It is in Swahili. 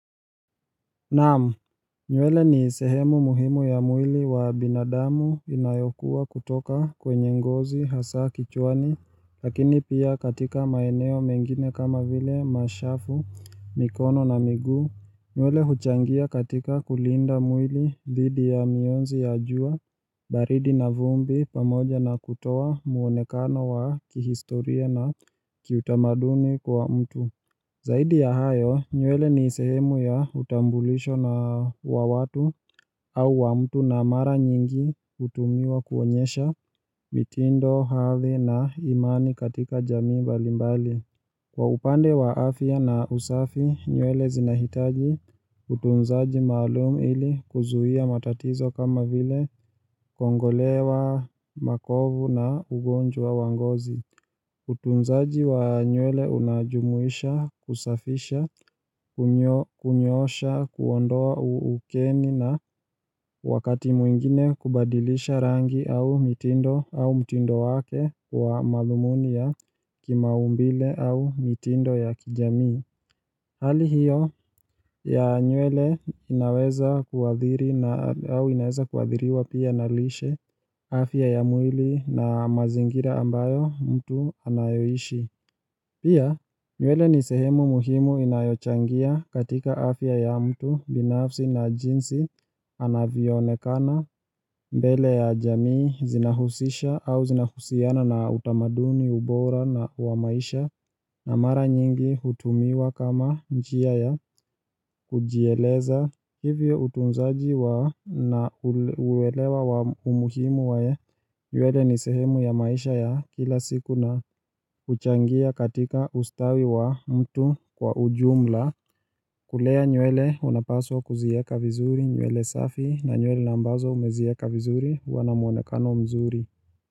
Naamu nywele ni sehemu muhimu ya mwili wa binadamu inayokua kutoka kwenye ngozi hasa kichwani, lakini pia katika maeneo mengine kama vile mashafu, mikono na migu, nywele huchangia katika kulinda mwili dhidi ya mionzi ya jua, baridi na vumbi pamoja na kutoa muonekano wa kihistoria na kiutamaduni kwa mtu. Zaidi ya hayo, nywele ni sehemu ya utambulisho na wa watu au wa mtu na mara nyingi hutumiwa kuonyesha mitindo, havi na imani katika jamii mbalimbali. Kwa upande wa afya na usafi, nywele zinahitaji utunzaji malumu ili kuzuia matatizo kama vile kongolewa makovu na ugonjwa wa ngozi. Utunzaji wa nywele unajumuisha kusafisha, kunyo kunyoosha, kuondoa ukeni na wakati mwingine kubadilisha rangi au mitindo au mtindo wake wa malumuni ya kimaumbile au mitindo ya kijamii Hali hiyo ya nywele inaweza kuathiri au inaweza kuathiriwa pia na lishe afya ya mwili na mazingira ambayo mtu anayoishi Pia nywele ni sehemu muhimu inayochangia katika afya ya mtu binafsi na jinsi anavyonekana mbele ya jamii zinahusisha au zinahusiana na utamaduni ubora na wa maisha na mara nyingi hutumiwa kama njia ya kujieleza hivyo utunzaji wa na uwelewa wa umuhimu wae nywele ni sehemu ya maisha ya kila siku na huchangia katika ustawi wa mtu kwa ujumla kulea nywele unapaswa kuzieka vizuri nywele safi na nywele na ambazo umezieka vizuri huwa na muonekano mzuri.